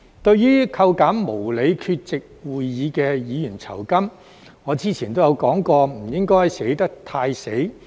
對於扣減無理缺席會議的議員酬金，我之前都說過不應該寫得太"死"。